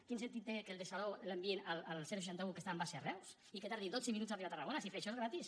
quin sentit té que el de salou l’enviïn al seixanta un que està amb base a reus i que tardi dotze minuts a arribar a tarragona si fer això és gratis